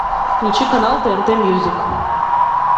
включи канал тнт мьюзик